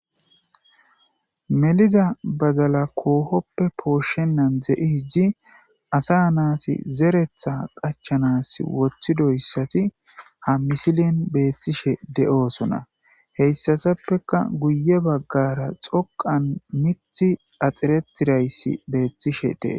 Meliza bazala koohoppe pooshshenan ze'i hijji asa naati zeretha qachanas woththidoyssati ha misilin beethtishe de'oosona heyssatappeka guye baggara xoqan mitti axiretirayssi beeththishe dee.